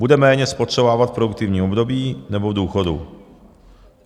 Bude méně spotřebovávat v produktivním období, nebo v důchodu.